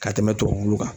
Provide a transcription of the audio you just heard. Ka tɛmɛ tubabu kan